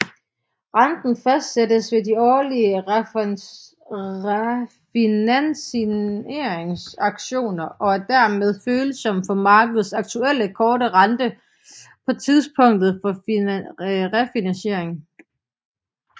Renten fastsættes ved de årlige refinansieringsauktioner og er dermed følsom for markedets aktuelle korte rente på tidspunktet for refinansiering